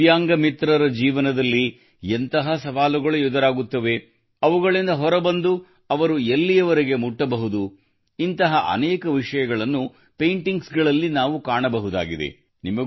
ದಿವ್ಯಾಂಗ ಮಿತ್ರರ ಜೀವನದಲ್ಲಿ ಎಂತಹ ಸವಾಲುಗಳು ಎದುರಾಗುತ್ತವೆ ಅವುಗಳಿಂದ ಹೊರಬಂದು ಅವರು ಎಲ್ಲಿಯವರೆಗೆ ಮುಟ್ಟಬಹುದು ಇಂತಹ ಅನೇಕ ವಿಷಯಗಳನ್ನು ಪೇಂಟಿಂಗ್ಸ್ ಗಳಲ್ಲಿ ನಾವು ಕಾಣಬಹುದಾಗಿದೆ